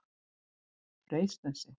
Freysnesi